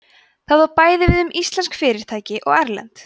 það á bæði við um íslensk fyrirtæki og erlend